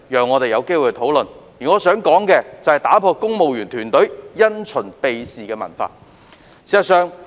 我想討論打破公務員團隊因循避事的文化。